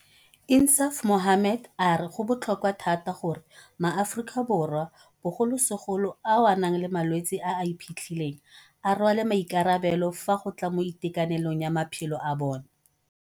INSAAF MOHAMMED a re go botlhokwa thata gore maAforika Borwa, bogolosegolo ao a nang le malwetse a a iphitlhileng, a rwale maikarabelo fa go tla mo itekanelong ya maphelo a bona.